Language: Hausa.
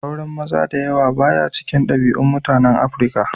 Auren maza da yawa ba ya cikin dabi'un mutanen Afirka.